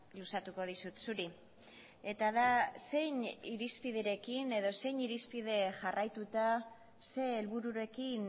luzatuko dizut zuri eta da zein irizpiderekin edo zein irizpide jarraituta zein helbururekin